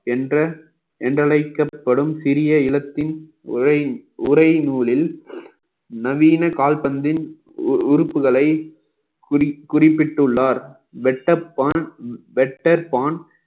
என்ற என்றழைக்கப்படும் சிறிய இலத்தின் உரை உரை நூலில் நவீன கால்பந்தின் உறு~ உறுப்புகளை குறி~ குறிப்பிட்டுள்ளார் வெட்டப்பான் வெட்டப்பான்